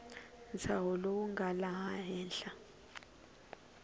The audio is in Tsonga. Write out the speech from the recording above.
ntshaho lowu nga laha henhla